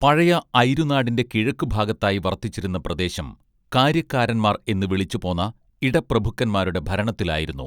പഴയ ഐരുനാടിന്റെ കിഴക്കുഭാഗത്തായി വർത്തിച്ചിരുന്ന പ്രദേശം കാര്യക്കാരന്മാർ എന്നു വിളിച്ചുപോന്ന ഇടപ്രഭുക്കന്മാരുടെ ഭരണത്തിലായിരുന്നു